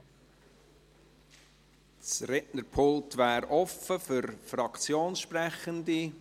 Das Rednerpult ist offen für Fraktionssprechende.